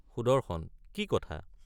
সুদৰ্শন—কি কথা?